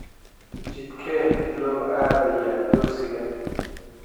Jidkee loo aadayaa dugsiga?